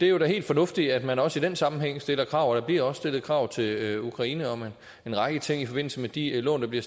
jo da helt fornuftigt at man også i den sammenhæng stiller krav og der bliver også stillet krav til ukraine om en række ting i forbindelse med de lån der bliver